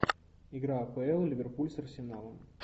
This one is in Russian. игра апл ливерпуль с арсеналом